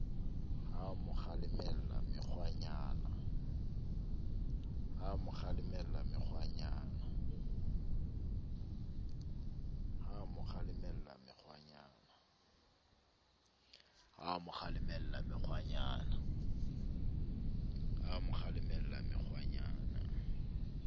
ha a mo kgalemella mekgwanyana